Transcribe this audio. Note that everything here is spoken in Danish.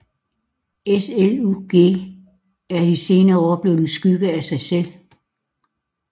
SSLUG er de senere år blevet en skygge af sig selv